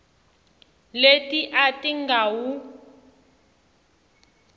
leti a ti nga wu